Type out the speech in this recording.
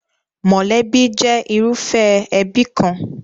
Mọ̀lẹ́bí jẹ́ irúfẹ́ ẹbí kan.